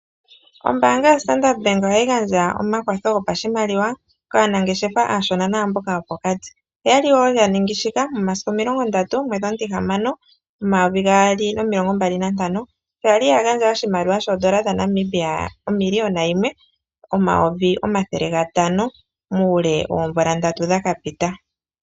Ombaanga yaStandard bank ohayi gandja omakwatho gopashimaliwa kaanangeshefa aashona naamboka yopokati, oyali wo yaningi shika momasiku omilongo ndatu, omwedhi omutihamano, omayovi gaali nomilongo mbali nantano sho yali yagandja oshimaliwa shoodola dhaNamibia omilillion yimwe ,omayovi omathele gatano muule woomvula ndatu dhakapita.